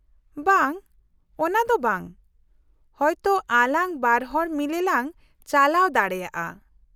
-ᱵᱟᱝ, ᱚᱱᱟ ᱫᱚ ᱵᱟᱝ ᱾ ᱦᱚᱭᱛᱳ ᱟᱞᱟᱝ ᱵᱟᱨ ᱦᱚᱲ ᱢᱤᱞᱮ ᱞᱟᱝ ᱪᱟᱞᱟᱣ ᱫᱟᱲᱮᱭᱟᱜᱼᱟ ᱾